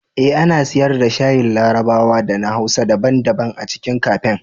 Eh, ana siyar da shayin larabawa da na hausa daban-daban a cikin kafen.